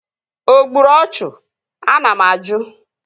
O gburu ọchụ? Ana m ajụ?